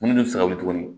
Munnu bɛ fɛ ka wuli tuguni